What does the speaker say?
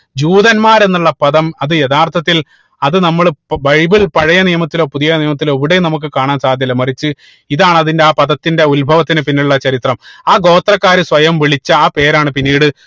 ജൂതന്മാർ എന്നുള്ള പദം അത് യഥാർത്ഥത്തിൽ അത് നമ്മള് ഇപ്പൊ ബൈബിൾ പഴയ നിയമത്തിലോ പുതിയ നിയമത്തിലോ എവിടെയും നമുക്ക് കാണാൻ സാധ്യമല്ല മറിച്ച് ഇതാണ് അതിന്റെ ആ പദത്തിന്റെ ഉത്ഭവത്തിന് പിന്നിലുള്ള ചരിത്രം ആ ഗോത്രക്കാര് സ്വയം വിളിച്ച ആ പേരാണ് പിന്നീട്